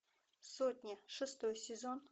сотня шестой сезон